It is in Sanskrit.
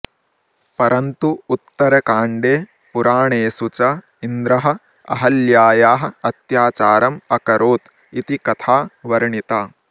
परन्तु उत्तरकाण्डे पुराणेषु च इन्द्रः अहल्यायाः अत्याचारम् अकरोत् इति कथा वर्णिता